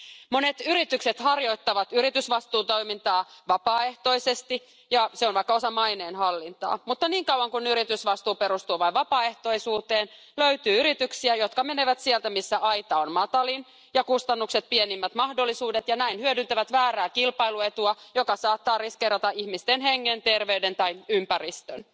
Monet yritykset harjoittavat yritysvastuutoimintaa vapaaehtoisesti, ja se on vaikkapa osa maineen hallintaa, mutta niin kauan kuin yritysvastuu perustuu vain vapaaehtoisuuteen, löytyy yrityksiä, jotka menevät sieltä, missä aita on matalin ja kustannukset pienimmät mahdolliset, ja hyödyntävät näin väärää kilpailuetua, joka saattaa riskeerata ihmisten hengen, terveyden tai ympäristön.